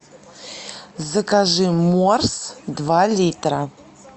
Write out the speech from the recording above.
закажи морс два литра